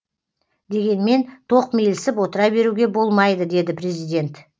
дегенмен тоқмейілсіп отыра беруге болмайды деді президент